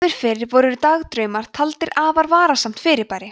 áður fyrr voru dagdraumar taldir afar varasamt fyrirbæri